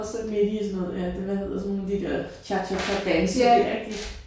Midt i sådan noget ja hvad hedder sådan de der cha cha cha danse der ik de